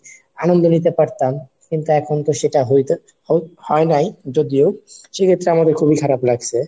আনন্দ নিতে পারতাম কিন্তু এখন তো সেটা হইতো হয় নাই যদিও সেক্ষেত্রে আমাদের খুবই খারাপ লাগছে।